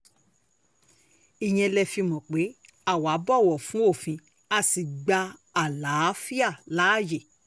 ìyẹn lé e fi mọ̀ pé àwa bọ̀wọ̀ fún òfin a sì gba àlàáfíà láàyè